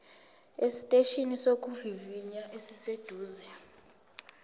esiteshini sokuvivinya esiseduze